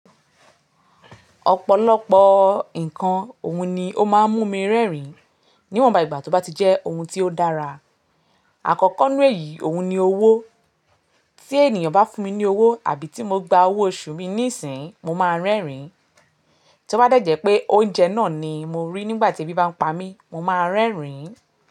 Ọ̀pọ̀lọpọ̀ nǹkan ohun ni ó máa ń mú mi rẹ́rìn-ín. Níwọ̀nba ìgbà tó bá ti jẹ́ ohun tí ó dára. Àkọ́kọ́ nínú èyí ohun ni owó. Tí ènìyàn bá fún mi ní owó àbí tí mo gba owó oṣù mi nísìń, mo máa rẹ́rìn-ín. Tí ó bá dẹ̀jẹ́ pé oúnjẹ náà ni mo rí nígbà tí ebi bá ń pa mí, mo máa rẹ́rìn-ín.